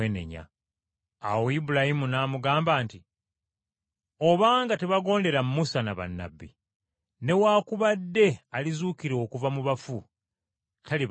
“Awo Ibulayimu n’amugamba nti, ‘Obanga tebagondera Musa ne bannabbi, newaakubadde alizuukira okuva mu bafu talibakkirizisa.’ ”